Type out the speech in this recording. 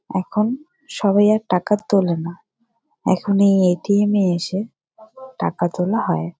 এখন সবাই আর টাকা তোলে না এখন এই এ. টি. এম. -এ এসে টাকা তোলা হয়।